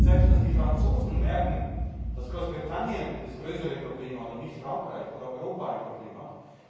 Ich glaube, sie spürt selbst, dass die Franzosen merken, dass Großbritannien das größere Problem hat und nicht Frankreich oder Europa ein Problem hat.